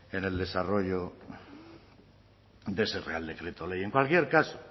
en el desarrollo de ese real decreto ley en cualquier caso